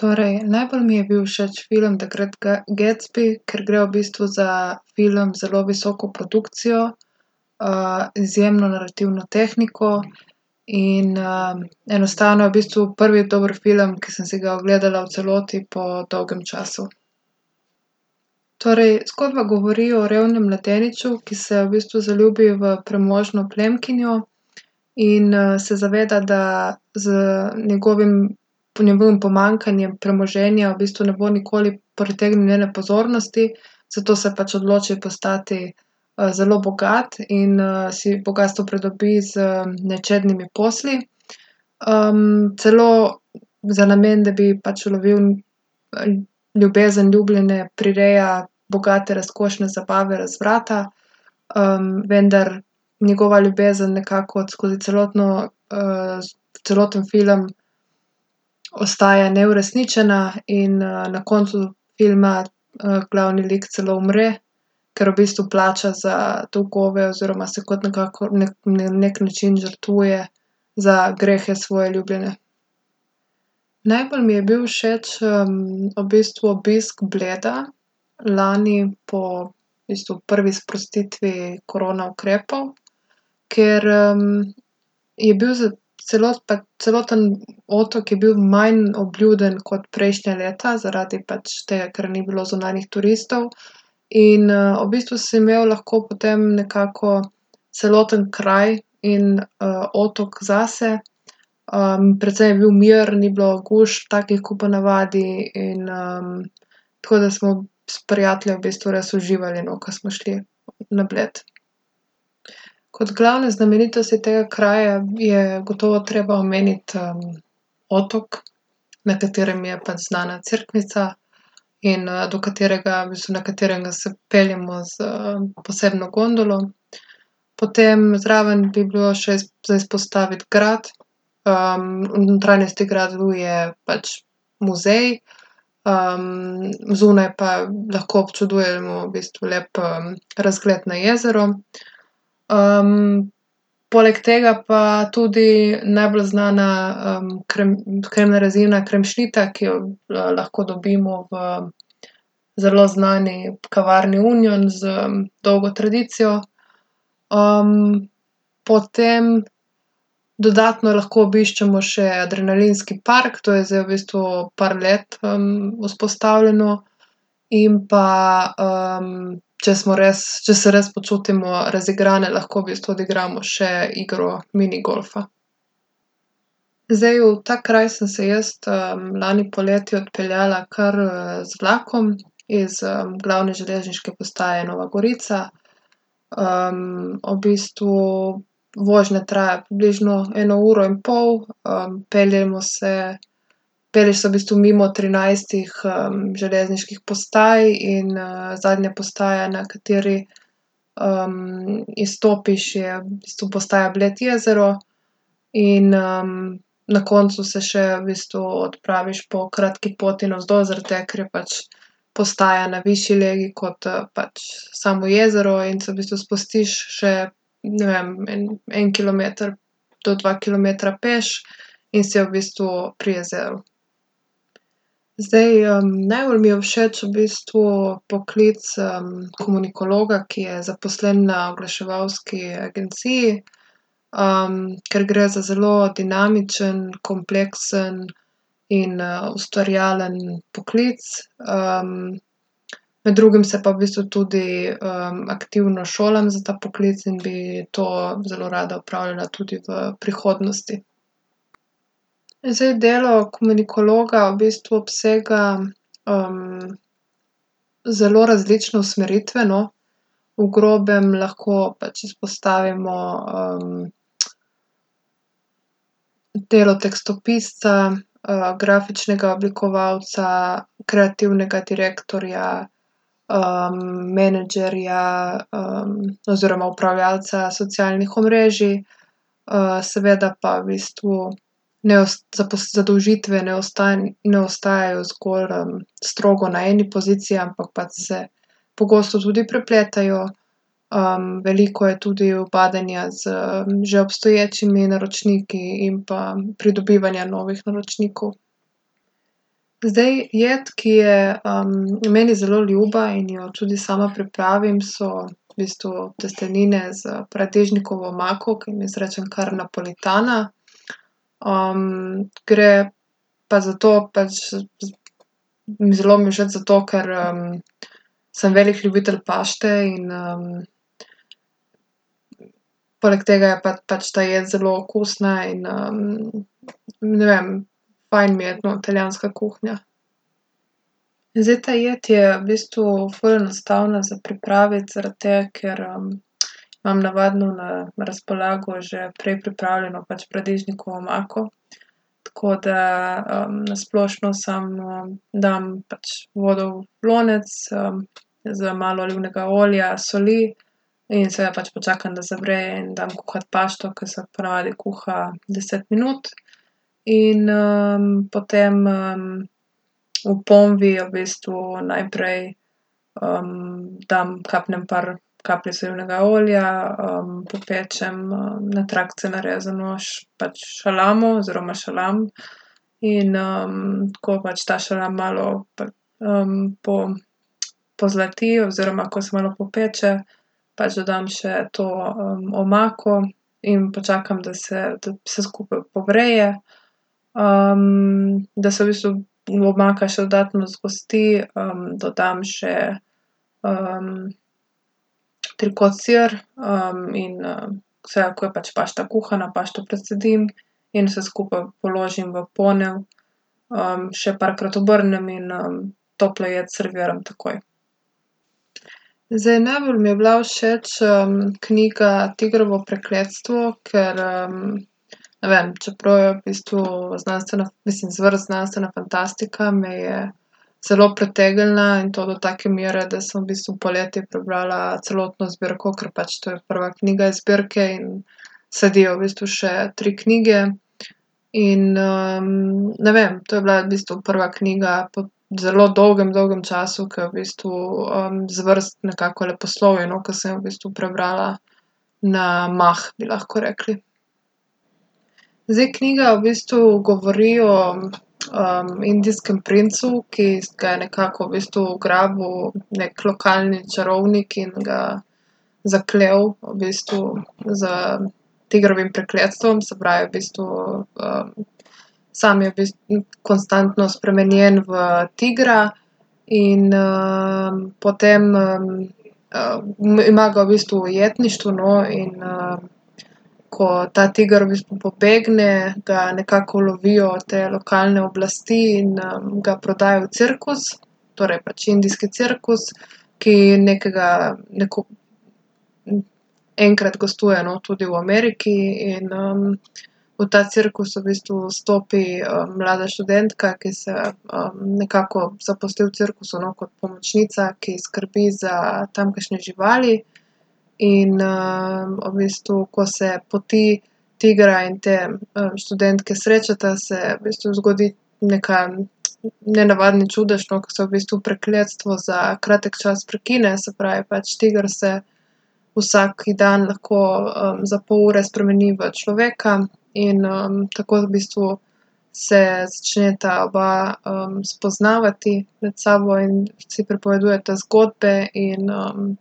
Torej, najbolj mi je bil všeč film The Great Gatsby, ker gre v bistvu za film z zelo visoko produkcijo, izjemno narativno tehniko in, enostavno je v bistvu prvi dober film, ke sem si ga ogledala v celoti, po dolgem času. Torej, zgodba govori o revnem mladeniču, ki se v bistvu zaljubi v premožno plemkinjo in, se zaveda, da z njegovim, njegovim pomanjkanjem premoženja v bistvu ne bo nikoli pritegnil njene pozornosti. Zato se pač odloči postati, zelo bogat in, si bogastvo pridobi z nečednimi posli. celo za namen, da bi pač ulovil, ljubezen ljubljene, prireja bogate, razkošne zabave razvrata, vendar njegova ljubezen nekako skozi celotno, celoten film ostaja neuresničena in, na koncu filma, glavni lik celo umre, ker v bistvu plača za dolgove oziroma se kot nekako na neki način žrtvuje za grehe svoje ljubljene. Najbolj mi je bil všeč, v bistvu obisk Bleda lani po v bistvu prvi sprostitvi korona ukrepov, ker, je bil celoten otok je bil manj obljuden kot prejšnja leta zaradi pač tega, ker ni bilo zunanjih turistov. In, v bistvu si imel lahko potem nekako celoten kraj in, otok zase. precej je bil mir, ni bilo gužv, takih kot po navadi, in, tako da smo s prijatelji v bistvu res uživali, no, ko smo šli na Bled. Kot glavne znamenitosti tega kraja je gotovo treba omeniti, otok, na katerem je pač znana cerkvica in, do katerega, v bistvu na katerega se peljemo s posebno gondolo. Potem zraven bi bilo še za izpostaviti grad, v notranjosti gradu je pač muzej, zunaj pa lahko občudujemo v bistvu lep, razgled na jezero. poleg tega pa tudi najbolj znana, kremna rezina, kremšnita, ki jo lahko dobimo v zelo znani kavarni Union z dolgo tradicijo. potem dodatno lahko obiščemo še adrenalinski park, to je zdaj v bistvu par let, vzpostavljeno, in pa, če smo res, če se res počutimo razigrane, lahko v bistvu odigramo še igro minigolfa. Zdaj, v ta kraj sem se jaz, lani poleti odpeljala kar, z vlakom iz, glavne železniške postaje Nova Gorica. v bistvu vožnja traja približno eno uro in pol, peljemo se, pelješ se v bistvu mimo trinajstih, železniških postaj in, zadnja postaja, na kateri, izstopiš, je v bistvu postaja Bled Jezero. In, na koncu se še v bistvu odpraviš po kratki poti navzdol, zaradi tega, ker je pač postaja na višji legi kot, pač samo jezero, in se v bistvu spustiš še, ne vem, en, en kilometer do dva kilometra peš, in si v bistvu pri jezeru. Zdaj, najbolj mi je všeč v bistvu poklic komunikologa, ki je zaposlen na oglaševalski agenciji, ker gre za zelo dinamičen, kompleksen in, ustvarjalen poklic. med drugim se pa v bistvu tudi, aktivno šolam za ta poklic in bi to zelo rada opravljala tudi v prihodnosti. Zdaj, delo komunikologa v bistvu obsega, zelo različne usmeritve, no. V grobem lahko pač izpostavimo, delo tekstopisca, grafičnega oblikovalca, kreativnega direktorja, menedžerja, oziroma upravljalca socialnih omrežij, seveda pa v bistvu ne zadolžitve ne ne ostajajo zgolj, strogo na eni poziciji, ampak pač se pogosto tudi prepletajo. veliko je tudi ubadanja z že obstoječimi naročniki in pa pridobivanja novih naročnikov. Zdaj, jed, ki je, meni zelo ljuba in jo tudi sama pripravim, so v bistvu testenine s paradižnikovo omako, ki jim jaz rečem kar napolitana. gre pa za to, pač zelo mi je všeč zato, ker, sem velik ljubitelj pašte in, poleg tega je pa pač ta jed zelo okusna in, ne vem, fajn mi je, no, italijanska kuhinja. Zdaj, ta jed je v bistvu ful enostavna za pripraviti zaradi tega, ker, imam navadno na razpolago že prej pripravljeno pač paradižnikovo omako. Tako da, na splošno samo dam pač vodo v lonec, z malo olivnega olja, soli. In seveda pač počakam, da zavre, in dam kuhati pašto, ko se po navadi kuha deset minut. In, potem, v ponvi v bistvu najprej, dam, kapnem par kapljic olivnega olja, popečem na trakce narezano pač šalamo oziroma šalam. In, ko pač ta šalam malo, pozlati oziroma ko se malo popeče, pač dodam še to, omako in počakam, da se, da vse skupaj povre, da se v bistvu omaka še dodatno zgosti, dodam še, trikot sir, in, seveda, ko je pač pašta kuhana, pašto precedim in vse skupaj položim v ponev, še parkrat obrnem in, toplo jed serviram takoj. Zdaj, najbolj mi je bila všeč, knjiga Tigrovo prekletstvo, ker, ne vem, čeprav je v bistvu znanstvena, mislim, zvrst znanstvena fantastika, me je zelo pritegnila, in to do take mere, da sem v bistvu poleti prebrala celotno zbirko, ker pač to je prva knjiga iz zbirke in sledijo v bistvu še tri knjige. In, ne vem, to je bila v bistvu prva knjiga po zelo dolgem, dolgem času, ke v bistvu, zvrst nekako leposlovje, no, ker sem jo v bistvu prebrala na mah, bi lahko rekli. Zdaj, knjiga v bistvu govori o, indijskem princu, ki ga je nekako v bistvu ugrabil neki lokalni čarovnik in ga zaklel v bistvu s tigrovim prekletstvom, se pravi, v bistvu, sam je v konstantno spremenjen v tigra. In, potem, ima ga v bistvu v ujetništvu, no, in, ko ta tiger pobegne, ga nekako ulovijo te lokalne oblasti in, ga prodajo v cirkus. Torej pač indijski cirkus, ki nekega, enkrat gostuje, no, tudi v Ameriki, in, v ta cirkus v bistvu vstopi, mlada študentka, ki se, nekako zaposli v cirkusu, no, kot pomočnica, ki skrbi za tamkajšnje živali. In, v bistvu, ko se poti tigra in te, študentke srečata, se v bistvu zgodi neki, nenavadni čudež, no, ko se v bistvu prekletstvo za kratek čas prekine. Se pravi, pač tiger se vsak dan lahko, za pol ure spremeni v človeka. In, tako v bistvu se začneta oba, spoznavati med sabo in si pripovedujeta zgodbe in,